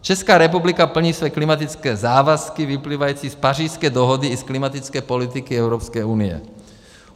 Česká republika plní své klimatické závazky vyplývající z Pařížské dohody i z klimatické politiky EU.